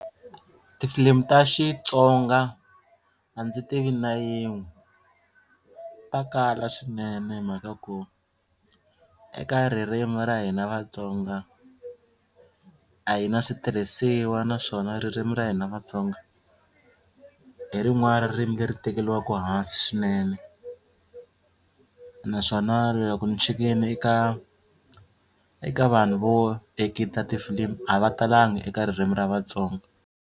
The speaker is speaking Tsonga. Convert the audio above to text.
Tifilimi ta Xitsonga a ndzi tivi na yin'we ta kala swinene hi mhaka ku eka ririmi ra hina Vatsonga a hi na switirhisiwa naswona ririmi ra hina Vatsonga hi rin'wana ra ririmi leri tekeriwaka hansi swinene naswona loko ni chekini eka eka vanhu vo akita tifilimi a va talanga eka ririmi ra Vatsonga.